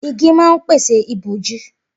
Igi ma ń pèsè ìbòji.